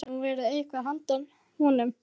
Það hefði nú verið eitthvað handa honum